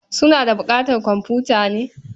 Suna da buƙatar komfuta ne?